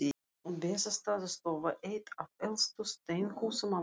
Bessastaðastofa, eitt af elstu steinhúsum á landinu.